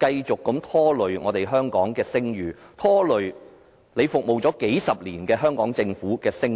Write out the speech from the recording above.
繼續拖累香港的聲譽，拖累司長服務了數十年的香港政府的聲譽。